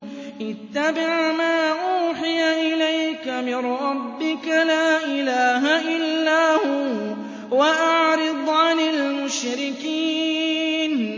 اتَّبِعْ مَا أُوحِيَ إِلَيْكَ مِن رَّبِّكَ ۖ لَا إِلَٰهَ إِلَّا هُوَ ۖ وَأَعْرِضْ عَنِ الْمُشْرِكِينَ